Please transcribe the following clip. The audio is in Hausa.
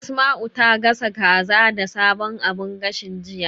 Asma'u ta gasa kaza da sabon abun gashin, jiya.